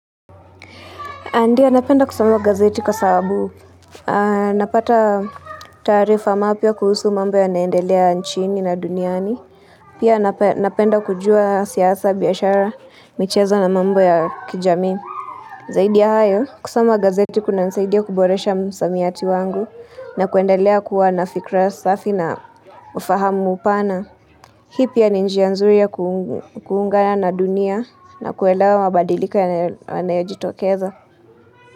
Ndia napenda kusoma gazeti kwa sababu. Napata taarifa mapya kuhusu mambo ya naendelea nchini na duniani. Pia napenda kujua siasa, biashara, michezo na mambo ya kijamii. Zaidi ya hayo, kusoma gazeti kuna nsaidia kuboresha msamiati wangu na kuendelea kuwa nafikra safi na ufahamu upana. Hii pia ninjia nzuri ya kuungana na dunia na kuwelewa mabadilika ya na yajitokeza.